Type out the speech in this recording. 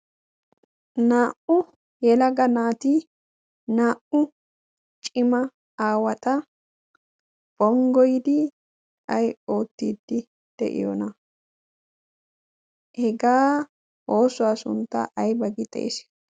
naa77u yela ga naati naa77u cima aawata bonggoidi ai oottiiddi de7iyoona hegaa oosuwaa sunttaa ai bagi xeesh